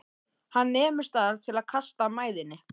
Hann nemur staðar til að kasta mæðinni.